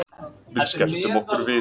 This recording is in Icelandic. Við skelltum okkur við